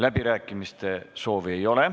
Läbirääkimiste soovi ei ole.